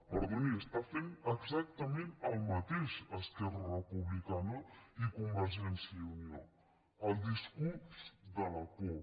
perdoni estan fent exactament el mateix esquerra republicana i convergència i unió el discurs de la por